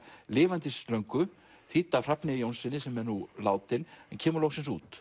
lifandis löngu þýdd af Hrafni Jónssyni sem er nú látinn en kemur loksins út